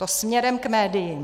To směrem k médiím.